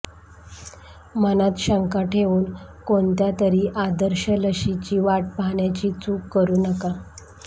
मनात शंका ठेवून कोणत्यातरी आदर्श लशीची वाट पाहण्याची चूक करू नका